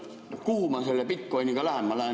Kuhu ma selle bitcoin'iga lähen?